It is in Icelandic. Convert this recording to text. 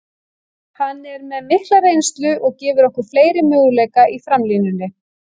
Hann er með mikla reynslu og gefur okkur fleiri möguleika í framlínunni.